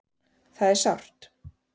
Það er sárt